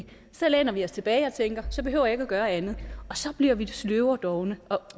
så læner vi os tilbage og tænker at så behøver vi ikke at gøre andet og så bliver vi sløve og dovne og